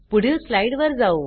पुढील स्लाइड वर जाऊ